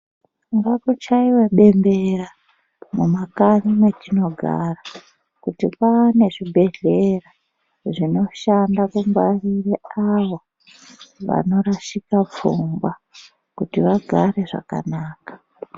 Ngamuchaive bembera mumakanyi metinogara. Kuti maane zvibhedhlera zvinoshanda kungwarire avo vanorashika pfungwa kuti vagare zvakanaka.